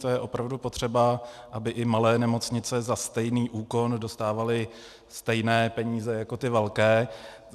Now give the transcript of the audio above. To je opravdu potřeba, aby i malé nemocnice za stejný úkon dostávaly stejné peníze jako ty velké.